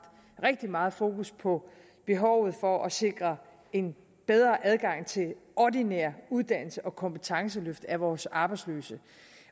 rigtig meget fokus på behovet for at sikre en bedre adgang til ordinær uddannelse og kompetenceløft af vores arbejdsløse